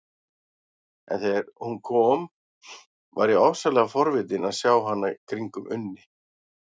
En þegar hún kom var ég ofsalega forvitin að sjá hana kringum Unni.